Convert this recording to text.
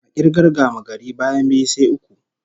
A k'irgar gamagari, bayan biyu, sai uku